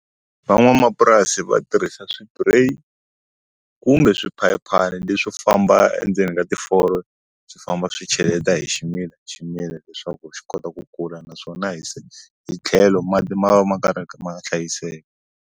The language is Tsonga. Van'wamapurasi va tirhisa swipureyi kumbe swiphayiphana leswo famba endzeni ka ti swi famba swi cheleta hi ximila hi ximila leswaku swi kota ku kula naswona hi tlhelo mati ma va ma karhi ma hlayiseka.